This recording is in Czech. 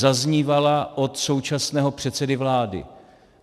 Zaznívala od současného předsedy vlády.